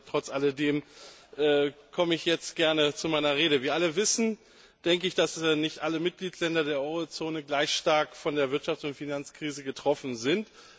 Trotz alledem komme ich jetzt gerne zu meiner Rede. Wir alle wissen, dass nicht alle Mitgliedstaaten der Eurozone gleich stark von der Wirtschafts und Finanzkrise betroffen sind.